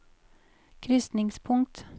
krysningspunkt